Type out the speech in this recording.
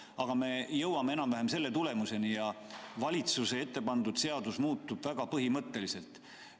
Aga me jõuame enam-vähem selle tulemuseni ja valitsuse ettepanekul seadus muutub väga põhimõtteliselt.